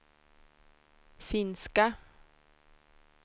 finska